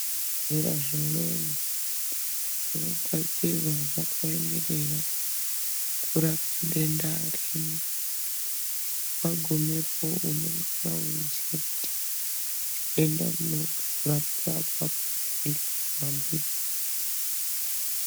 Zvibhedhlera zvimweni zvogadzirwa zvakaemerera kurapa denda rimwr wagumepo unengana weiziya kuti denda rinengana reirapwa apapo iro wambiri.